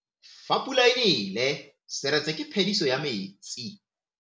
Fa pula e nelê serêtsê ke phêdisô ya metsi.